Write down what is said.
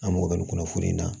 An mago bɛ nin kɔnɔ foro in na